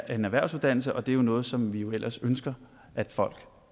en erhvervsuddannelse og det er noget som vi jo ellers ønsker at folk